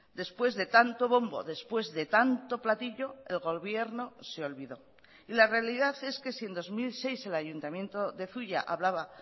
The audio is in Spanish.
después de tanto bombo después de tanto platillo el gobierno se olvidó y la realidad es que si en dos mil seis el ayuntamiento de zuia hablaba